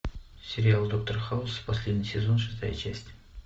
сериал доктор хаус последний сезон шестая часть